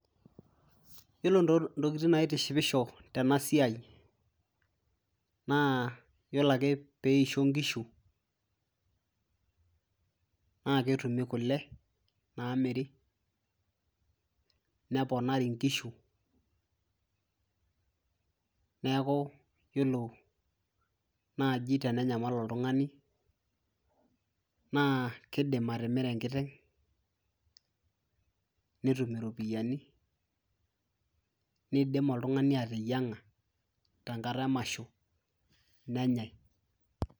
yiolo intokitin naitishipisho tena siai naa yiolo ake peisho inkishu naa ketumi kule namiri neponari inkishu neeku yiolo naaji tenenyamal oltung'ani naa kidim atimira enkiteng netum iropiyiani nidim oltung'ani ateyiang'a tenkata emasho nenyae.